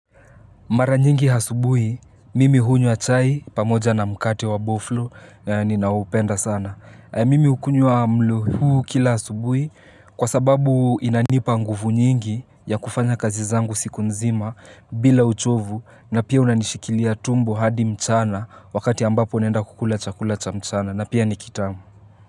Mara nyingi asubuhi, mimi hunywa chai pamoja na mkate wa boflo, ninaoupenda sana. Mimi hukunywa mlo huu kila asubuhi kwa sababu inanipa nguvu nyingi ya kufanya kazi zangu siku nzima bila uchovu na pia unanishikilia tumbo hadi mchana wakati ambapo naenda kukula chakula cha mchana na pia nikitamu.